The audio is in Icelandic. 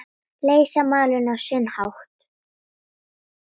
Leysa málin á sinn hátt.